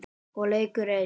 Og leikur einn.